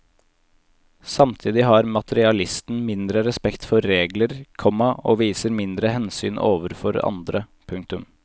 Samtidig har materialisten mindre respekt for regler, komma og viser mindre hensyn overfor andre. punktum